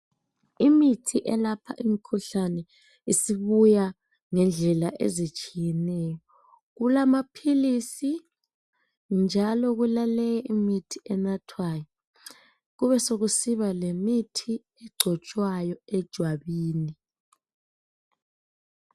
Imithi elapha imikhuhlane isibuya ngendlela ezitshiyeneyo . Kulamaphilisi njalo kulale imithi enathwayo .Kube sekusiba lemithi egcotshwayo ejwabini.